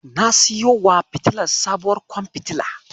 Na siyowa fitilar sabuwar kwan fitila.